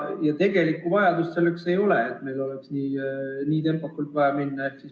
Ja tegelikku vajadust ei ole, et meil oleks nii tempokalt vaja edasi minna.